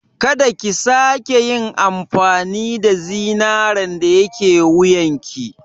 Ka da ki sake yin amfani da zinaren da yake wuyarki.